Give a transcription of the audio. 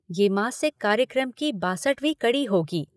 ये मासिक कार्यक्रम की बासठवीं कड़ी होगी।